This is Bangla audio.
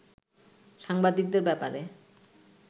সাংবাদিকদের ব্যাপারে